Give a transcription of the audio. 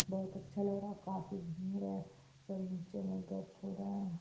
बहोत अच्छा लग रहा है काफी भीड़ है सब नीचे में गप हो रहा है।